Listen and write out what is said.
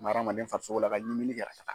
hadamaden farisogo la ka ɲimini kɛ ka taa.